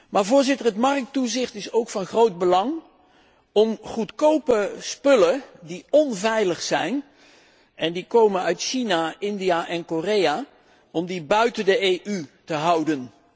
Maar, Voorzitter, het markttoezicht is ook van groot belang om goedkope spullen die onveilig zijn en die komen uit China, India en Korea buiten de EU te houden.